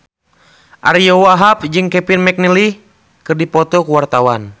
Ariyo Wahab jeung Kevin McNally keur dipoto ku wartawan